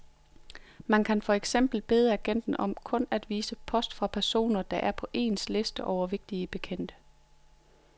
Man kan for eksempel bede agenten om kun at vise post fra personer, der er på ens liste over vigtige bekendte.